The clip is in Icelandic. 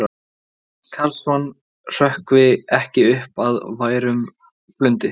Karlsson hrökkvi ekki upp af værum blundi.